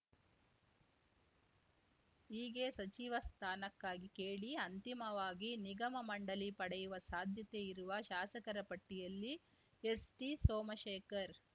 ಹೀಗೆ ಸಚಿವ ಸ್ಥಾನಕ್ಕಾಗಿ ಕೇಳಿ ಅಂತಿಮವಾಗಿ ನಿಗಮ ಮಂಡಳಿ ಪಡೆಯುವ ಸಾಧ್ಯತೆಯಿರುವ ಶಾಸಕರ ಪಟ್ಟಿಯಲ್ಲಿ ಎಸ್‌ಟಿಸೋಮಶೇಖರ್‌